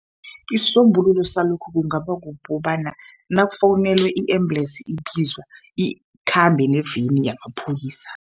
Isisombululo salokhu kungaba kukobana nakufowunelwe i-embulesi ibizwa, ikhambe neveni yamapholisa.